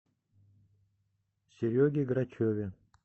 сереге грачеве